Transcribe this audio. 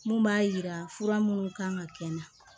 Mun b'a yira fura minnu kan ka kɛ n na